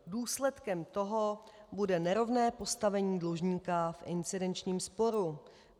Důsledkem toho bude nerovné postavení dlužníka v incidenčním sporu.